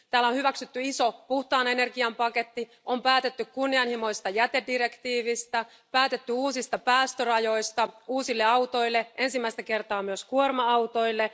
Täällä on hyväksytty iso puhtaan energian paketti, on päätetty kunnianhimoisesta jätedirektiivistä, päätetty uusista päästörajoista uusille autoille, ensimmäistä kertaa myös kuorma autoille.